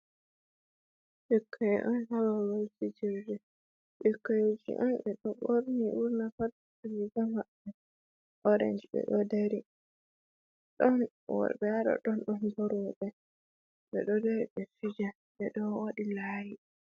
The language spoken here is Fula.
Ɓikkoi on hababal fijirde, ɓikkoi ji on ɓeɗo ɓorni burna pat riga maɓɓe orenj, ɓeɗo dari ɗon worɓe haɗɗon ɗo bo roɓe, ɓe ɗo dari ɓe fijan ɓeɗo waɗi laayi.